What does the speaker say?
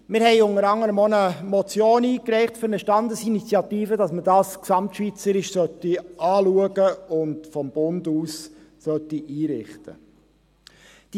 Wir reichten unter anderem auch eine Motion für eine Standesinitiative ein, die verlangt, dass man dies gesamtschweizerisch anschauen und vonseiten des Bundes einrichten soll.